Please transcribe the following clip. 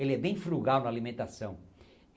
Ele é bem frugal na alimentação.